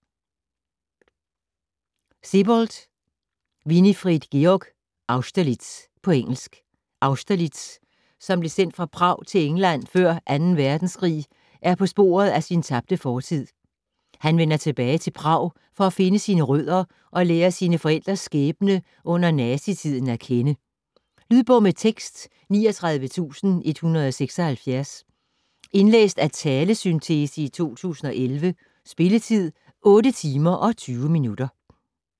Sebald, Winfried Georg: Austerlitz På engelsk. Austerlitz, som blev sendt fra Prag til England før II Verdenskrig er på sporet af sin tabte fortid. Han vender tilbage til Prag for at finde sine rødder og lære sine forældres skæbne under nazi-tiden at kende. Lydbog med tekst 39176 Indlæst af talesyntese, 2011. Spilletid: 8 timer, 20 minutter.